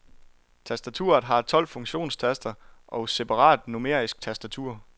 Tastaturet har tolv funktionstaster og separat numerisk tastatur.